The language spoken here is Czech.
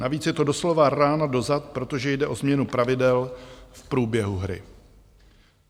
Navíc je to doslova rána do zad, protože jde o změnu pravidel v průběhu hry.